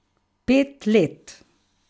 Pet let!